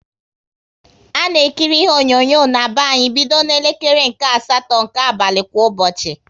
A na-ekiri ihe onyonyo na-be anyị bido na elekere nke asatọ nke abalị kwa ụbọchị